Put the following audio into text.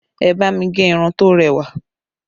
Ẹ bá mi gẹ irun to rẹwà